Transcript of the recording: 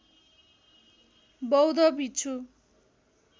बौध भिक्षु